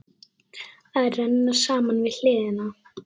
Að renna saman við hana.